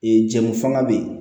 Ee jamu fana bɛ yen